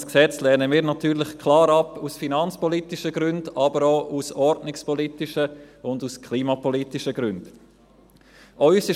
Ein solches Gesetz lehnen wir natürlich aus finanzpolitischen Gründen, aber auch aus ordnungspolitischen und klimapolitischen Gründen klar ab.